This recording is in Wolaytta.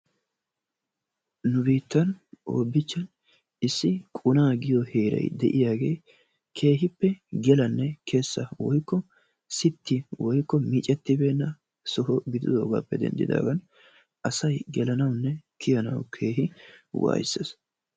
Nu biittan hobichchan issi quna giyo heeray de'iyaagee keehiippe gelanne kessa woikko sitti woykko miccettibeena soho gididoogaappe dendidaagan asay gelanawunne kiyanawu keehi wayssees.